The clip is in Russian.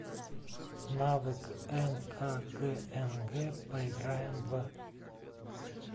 навык нкгнг поиграем в